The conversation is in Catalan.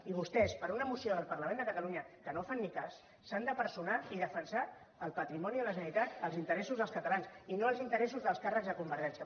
i vostès per una moció del parlament de catalunya a la qual no fan ni cas s’han de personar i defensar el patrimoni de la generalitat els interessos dels catalans i no els interessos dels càrrecs de convergència